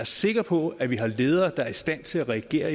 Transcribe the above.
sikker på at vi har ledere der er i stand til at reagere